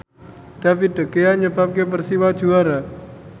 David De Gea nyebabke Persiwa juara